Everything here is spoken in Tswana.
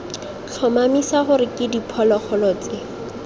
tlhomamisa gore ke diphologolo tse